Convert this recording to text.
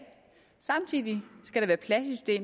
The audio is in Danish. samtidig skal der